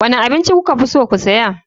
Wane abinci kuka fi so ku saya.